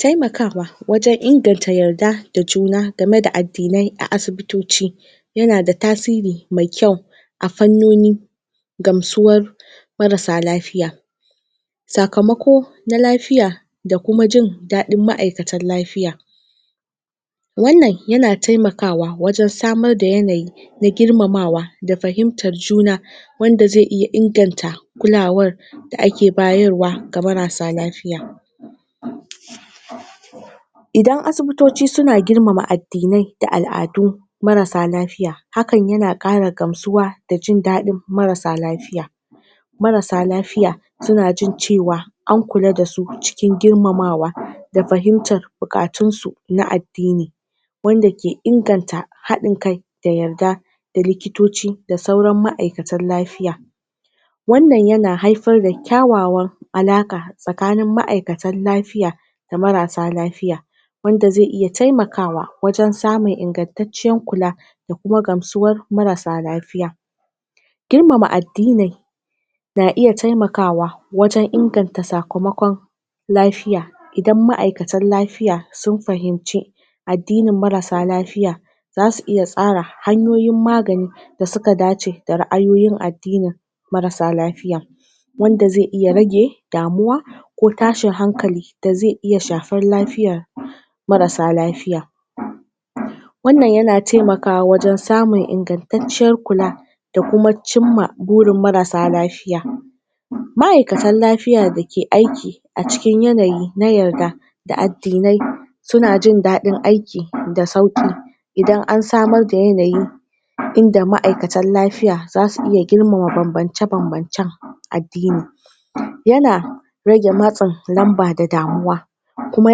taimakawa wajan inganta yarda da juna game da addinai a asibitoci yana da tasiri mai kyau a fannoni gamsuwar marasa lafiya sakamako na lafiya da kuma jindaɗin ma'aikatan lafiya wannan yana taimakawa wajan samar da yanayi na girmamawa da fahimtar juna wanda zai iya inganta kulawar da ake bayarwa ga marasa lafiya idan asibitoci suna girmama addinai da al'adu marasa lafiya hakan yana ƙara gamsuwa da jindaɗin marasa lafiya marasa lafiya suna jin cewa ankula dasu cikin girmama wa da fahimtar buƙatunsu na addini wanda ke inganta haɗin kai da yarda da likitoci da sauran ma'aikatan lafiya wannan yana haifar da ƙyawawan alaƙa tsakanin ma'aikatan lafiya da marasa lafiya wanda zai iya taimakawa wajan samun ingantatciyar kula da kuma gamsuwar marasa lafiya girmama addinai na iya taimakawa wajan inganta sakamakon lafiya idan ma'aikatan lafiya sun fahimce addini marasa lafiya zasu iya tsara hanyoyin magani da suka dace da ra'ayoyin addinin da marasa lafiya wanda zai iya rage damuwa ko tashin hankali da zai iya shafar lafiyar marasa lafiya wannan yana taimakawa wajan samun ingantatciyar kula da kuma cinma burin marasa lafiya ma'aikatan lafiya da ke aiki a cikin yanayi na yarda da addinai suna jindaɗi aiki da sauƙi idan ansamar da yanayi inda ma'aikatan lafiaya zasu iya girmama banbance banbancan addini yana rage matsin lanba da damuwa kuma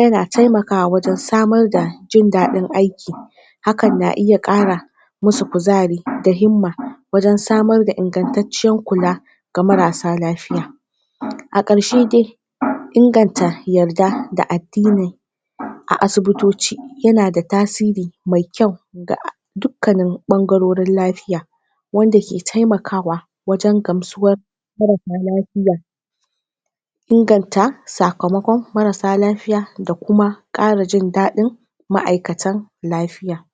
yana taimakawa wajan samar da jindaɗin aiki hakan na iya ƙara musu kuzari da himma wajan samar da ingantatciyar kula ga marasa lafiya a ƙarshe dai inganta yarda da addini a asibitoci yanda tasiri mai kyau ga dukkanin ɓangarurin lafiya wanda ke taimakawa wajan gamsuwar marasa lafiya inganta sakamaƙon marasa lafiya da kuma ƙara jindaɗin ma'aikatan lafiya